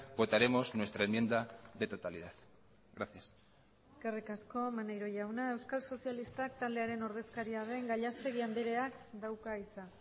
votaremos nuestra enmienda de totalidad gracias eskerrik asko maneiro jauna euskal sozialistak taldearen ordezkaria den gallastegui andreak dauka hitza